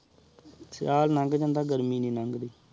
ਸਾਲ ਲਾੰਗ ਜਾਂਦਾ ਗਰਮੀ ਨੀ ਲੰਗੜੀ